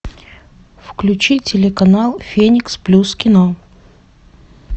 включи телеканал феникс плюс кино